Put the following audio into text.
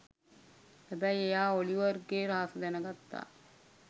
හැබැයි එයා ඔලිවර්ගේ රහස දැනගත්ත